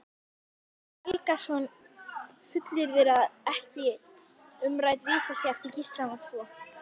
Helgason fullyrðir ekki að umrædd vísa sé eftir Gíslana tvo.